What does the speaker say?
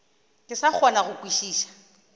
ke sa kgone go kwešiša